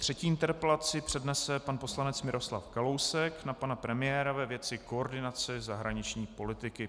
Třetí interpelaci přednese pan poslanec Miroslav Kalousek na pana premiéra ve věci koordinace zahraniční politiky.